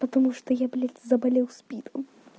потому что я блять заболел спидом